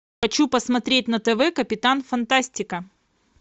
хочу посмотреть на тв капитан фантастика